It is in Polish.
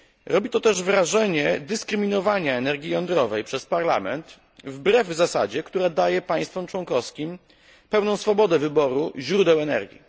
Robi to też wrażenie dyskryminowania energii jądrowej przez Parlament wbrew zasadzie, która daje państwom członkowskim pełną swobodę wyboru źródeł energii.